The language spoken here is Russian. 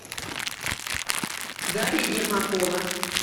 дарья ермакова